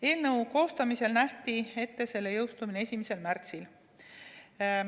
Eelnõu koostamisel nähti ette selle jõustumine 1. märtsil.